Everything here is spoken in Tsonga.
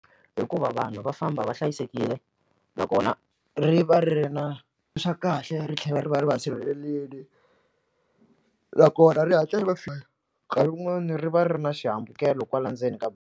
Hikuva vanhu va famba va hlayisekile nakona ri va ri na swa kahle ri tlhela ri va ri va sirhelelile nakona ri hatla ri va nkarhi wun'wani ri va ri ri ri na xihambukelo kwala ndzeni ka.